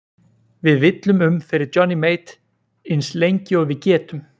Við villum um fyrir Johnny Mate ins lengi og við getum!